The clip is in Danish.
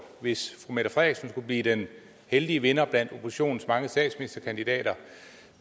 hvis fru mette frederiksen skulle blive den heldige vinder blandt oppositionens mange statsministerkandidater